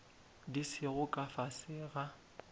di sego ka fase ga